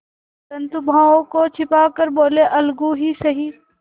परंतु भावों को छिपा कर बोलेअलगू ही सही